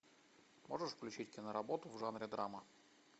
можешь включить киноработу в жанре драма